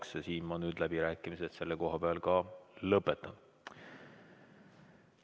Aga siin, selle koha peal ma nüüd läbirääkimised ka lõpetan.